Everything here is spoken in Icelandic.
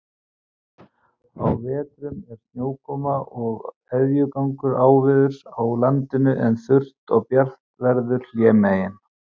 Á vetrum er snjókoma og éljagangur áveðurs á landinu, en þurrt og bjart veður hlémegin.